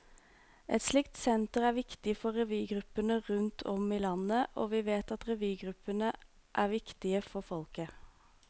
Et slikt senter er viktig for revygruppene rundt om i landet, og vi vet at revygruppene er viktige for folket.